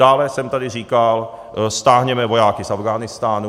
Dále jsem tady říkal: stáhněme vojáky z Afghánistánu.